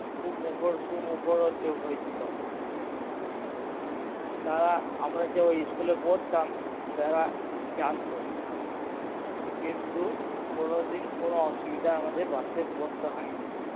হয়েছিল তারা আমরা যে ওই school এ পড়তাম তারা জানতো কিন্তু কোনোদিন কোনো অসুবিধায় আমাদের বাস এ পড়তে হয় নি